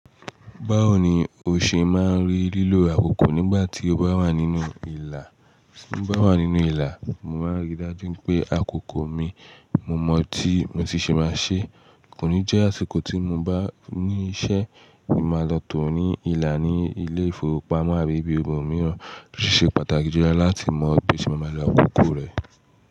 Báwo ni o ṣe máa ń rí lílo àkókò nígbà tí o bá wà nínú ìlà? Ti mo bà wà nínú ìlà, mo máa ń rí dájú pé àkókò mi mo mọ̀ tí mo ti ṣe máa ṣe. Kò ní jẹ́ àsìkò tí mo bá ní iṣẹ́ ni máa lọ tò ní ìlà ní ilé ìfowópamọ́ àbí ibi ọmọ mìíràn, ó sì ṣe pàtàkì jùlọ láti mọ bí ṣe máa lò àkókò rẹ.